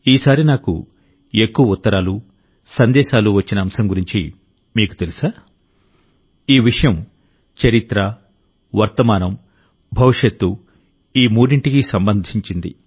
ఈసారి నాకు ఎక్కువ ఉత్తరాలు సందేశాలు వచ్చిన అంశం గురించి మీకు తెలుసా ఈ విషయం చరిత్ర వర్తమానం భవిష్యత్తు ఈ మూడింటికి సంబంధించింది